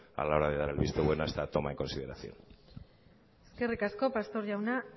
a la hora de dar el visto bueno a esta toma en consideración eskerrik asko pastor jauna